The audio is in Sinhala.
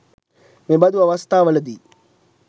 මෙබඳු අවස්ථාවලදී